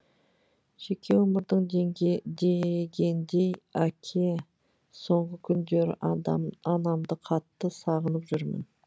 жеке өмірің дегендей әке соңғы күндері анамды қатты сағынып жүрмін